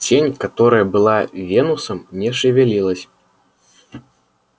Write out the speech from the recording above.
тень которая была венусом не шевелилась